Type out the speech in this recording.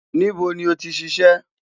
Nibo ni o ti ṣiṣẹ?